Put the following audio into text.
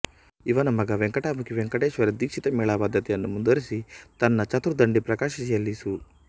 ಇವನ ಮಗ ವೆಂಕಟಮಖಿ ವೆಂಕಟೇಶ್ವರ ದೀಕ್ಷಿತ ಮೇಳ ಪದ್ಧತಿಯನ್ನು ಮುಂದುವರಿಸಿ ತನ್ನ ಚತುರ್ದಂಡಿ ಪ್ರಕಾಶಿಕೆಯಲ್ಲಿ ಸು